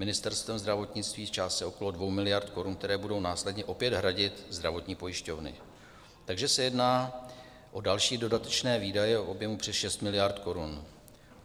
Ministerstvem zdravotnictví v částce okolo 2 miliard korun, které budou následně opět hradit zdravotní pojišťovny, takže se jedná o další dodatečné výdaje v objemu přes 6 miliard korun.